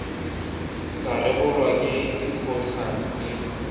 tsa rebolwa ke lekgotlha le